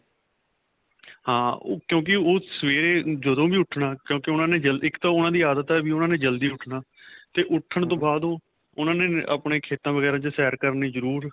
ਹਾਂ ਕਿਉਂਕਿ ਉਹ ਸਵੇਰੇ ਜਦੋਂ ਵੀ ਉੱਠਣਾ ਕਿਉਂਕਿ ਜਲਦੀ ਇੱਕ ਤਾਂ ਉਹਨਾ ਦੀ ਆਦਤ ਹੈ ਉਹਨਾ ਨੇ ਜਲਦੀ ਉੱਠਣਾ ਤੇ ਉੱਠਣ ਤੋਂ ਬਾਅਦ ਉਹ ਉਹਨਾ ਨੇ ਆਪਣੇ ਖੇਤਾਂ ਵਗੇਰਾ ਚ ਸੈਰ ਕਰਨੀ ਜਰੂਰ